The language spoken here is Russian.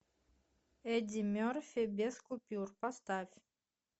эдди мерфи без купюр поставь